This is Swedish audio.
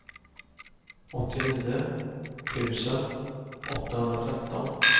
åttionio tusen åttahundratretton